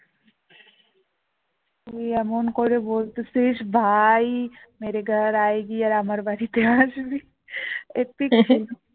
তুই এমন করে বলছিস আর আমার বাড়িতে আসবি এর থেকে